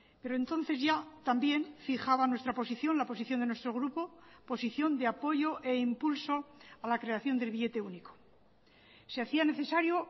pero entonces ya también fijaban nuestra posición la posición de nuestro grupo posición de apoyo e impulso a la creación del billete único se hacía necesario